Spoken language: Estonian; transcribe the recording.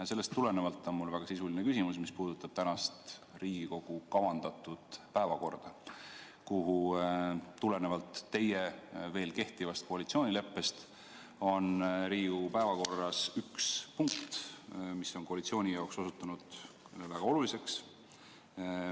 Ja sellest tulenevalt on mul väga sisuline küsimus, mis puudutab tänast Riigikogu kavandatud päevakorda, kus tulenevalt teie veel kehtivast koalitsioonileppest on üks punkt, mis on koalitsiooni jaoks osutunud väga oluliseks.